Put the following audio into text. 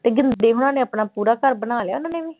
ਤੇ ਗਿੰਦੇ ਹੋਣਾਂ ਨੇ ਆਪਣਾ ਪੂਰਾ ਘਰ ਬਣਾ ਲਿਆ ਉਹਨਾਂ ਨੇ ਵੀ।